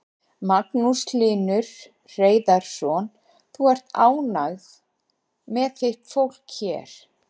Magnús Hlynur Hreiðarsson: Þú ert ánægð með þitt fólk hér?